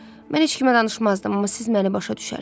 Mən heç kimə danışmazdım, amma siz məni başa düşərsiz.